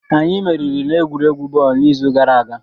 Anyị meriri n'egwuregwu bọọlụ n'izu gara aga